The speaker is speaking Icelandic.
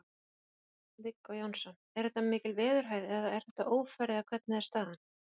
Viggó Jónsson: Er þetta mikil veðurhæð eða er þetta ófærð eða hvernig er staðan?